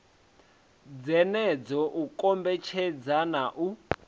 dzenedzo u kombetshedza na u